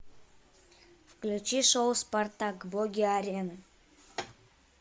включи шоу спартак боги арены